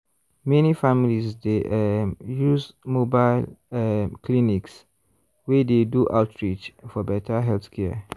many families dey um use mobile um clinics wey dey do outreach for better healthcare.